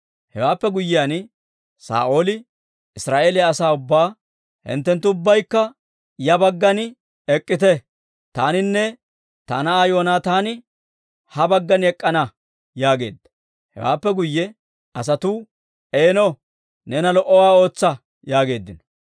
Hewaappe guyyiyaan, Saa'ooli Israa'eeliyaa asaa ubbaa, «Hinttenttu ubbaykka ya baggan ek'k'ite; taaninne ta na'aa Yoonaataani ha baggan ek'k'ana» yaageedda. Hewaappe guyye asatuu, «Eeno, neena lo"owaa ootsa» yaageeddino.